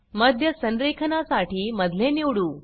मध्य संरेखना साठी मधले निवडू